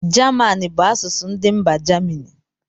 German bụ asụsụ ndị mba germany